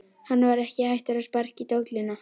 Hann var ekki hættur að sparka í dolluna!